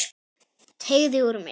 Teygði úr mér.